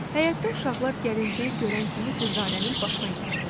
Həyətdə uşaqlar gəlinciyi görən kimi Dürdanənin başına yığışdılar.